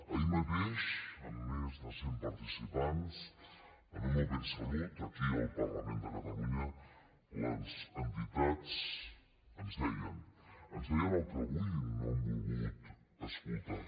ahir mateix amb més de cent participants en un open salut aquí al parlament de catalunya les entitats ens deien ens ho deien el que avui no han volgut escoltar